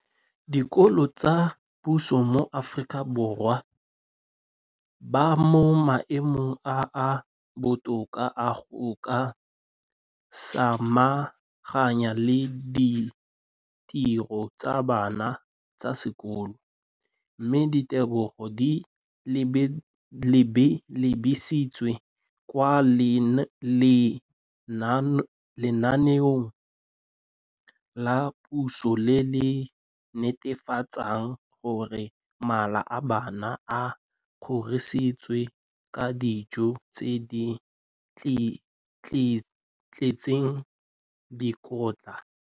Dikolo tsa puso mo Aforika Borwa ba mo maemong a a botoka a go ka samagana le ditiro tsa bona tsa sekolo, mme ditebogo di lebisiwa kwa lenaaneng la puso le le netefatsang gore mala a bona a kgorisitswe ka dijo tse di tletseng dikotla.